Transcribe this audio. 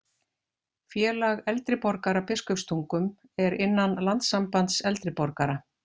Félag eldri borgara Biskupstungum er innan Landssambands eldri borgara